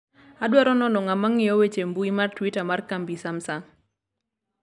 adwaro nono ng'ama ng'iyo weche mbui mar twita mar kambi samsung